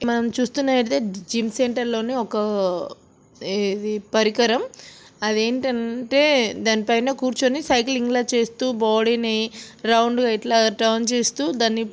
మనం చూస్తునట్లయితే gym centre లోని ఒక ఇది పరికరం అది ఏంటంటే దానిపైన కూర్చోని సైక్లింగ్ లా చేస్తూ బాడీ ని రౌండ్ గా ఇట్లా టర్న్ చేస్తూ దాన్ని.